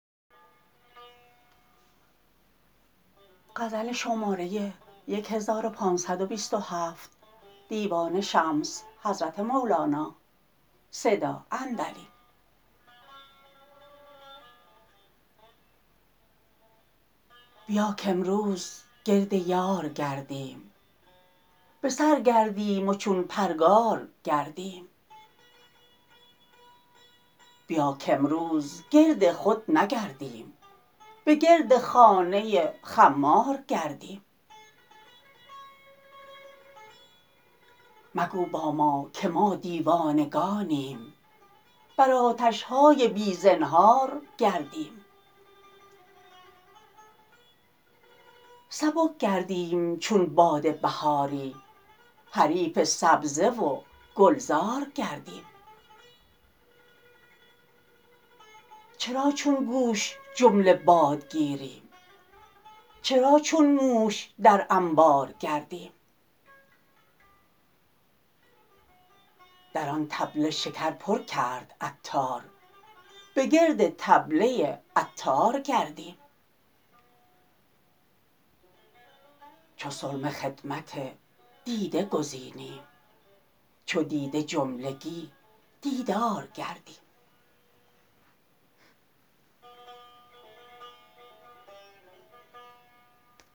بیا کامروز گرد یار گردیم به سر گردیم و چون پرگار گردیم بیا کامروز گرد خود نگردیم به گرد خانه خمار گردیم مگو با ما که ما دیوانگانیم بر آتش های بی زنهار گردیم سبک گردیم چون باد بهاری حریف سبزه و گلزار گردیم چرا چون گوش جمله باد گیریم چرا چون موش در انبار گردیم در آن طبله شکر پر کرد عطار به گرد طبله عطار گردیم چو سرمه خدمت دیده گزینیم چو دیده جملگی دیدار گردیم